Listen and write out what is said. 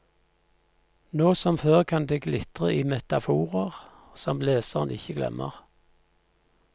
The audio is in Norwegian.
Nå som før kan det glitre i metaforer som leseren ikke glemmer.